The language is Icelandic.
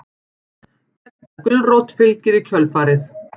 Gedda gulrót fylgir í kjölfarið.